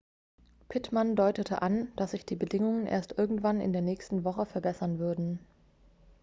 pittman deutete an dass sich die bedingungen erst irgendwann in der nächsten woche verbessern würden